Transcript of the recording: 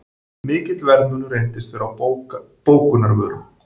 Mikill verðmunur reyndist vera á bökunarvörum